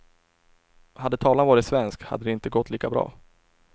Hade tavlan varit svensk, hade det inte gått lika bra.